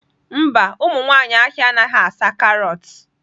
Mba, ụmụ nwanyị ahịa anaghị asa carrots